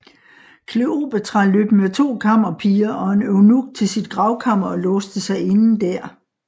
Kleopatra løb med to kammerpiger og en eunuk til sit gravkammer og låste sig inde der